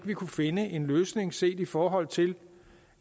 kunne finde en løsning set i forhold til